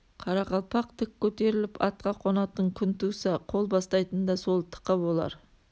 қарақалпақ тік көтеріліп атқа қонатын күн туса қол бастайтын да сол тықы болар